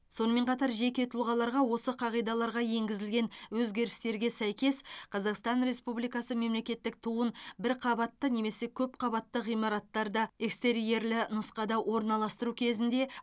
сонымен қатар жеке тұлғаларға осы қағидаларға енгізілген өзгерістерге сәйкес қазақстан республикасы мемлекеттік туын бір қабатты немесе көп қабатты ғимараттарда экстерьерлі нұсқада орналастыру кезінде